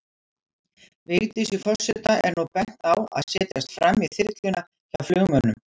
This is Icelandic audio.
Vigdísi forseta er nú bent á að setjast framí þyrluna, hjá flugmönnum.